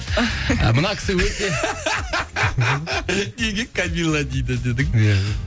мына кісі өте неге камилла дейді дедің